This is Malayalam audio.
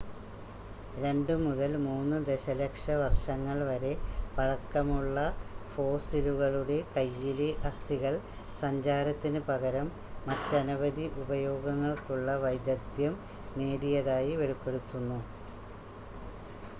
2 മുതൽ 3 ദശലക്ഷ വർഷങ്ങൾ വരെ പഴക്കമുള്ള ഫോസ്സിലുകളുടെ കയ്യിലെ അസ്ഥികൾ സഞ്ചാരത്തിന് പകരം മറ്റനവധി ഉപയോഗങ്ങൾക്കുള്ള വൈദഗ്ദ്ധ്യം നേടിയതായി വെളിപ്പെടുത്തുന്നു